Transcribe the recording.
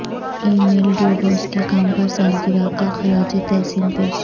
ای میل Du Bois کے کام پر سالگرہ کا خراج تحسین پیش